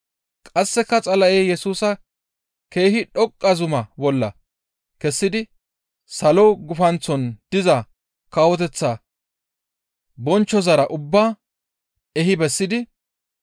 Qasseka Xala7ey Yesusa keehi dhoqqa zuma bolla kessidi salo gufanththon diza kawoteththa bonchchozara ubba ehi bessidi,